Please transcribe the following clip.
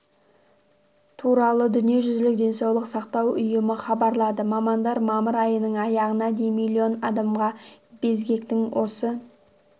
туралы дүниежүзілік денсаулық сақтау ұйымы хабарлады мамандар мамыр айының аяғына дейін миллион адамға безгектің осы